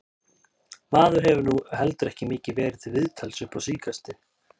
Maður hefur nú heldur ekki mikið verið til viðtals upp á síðkastið.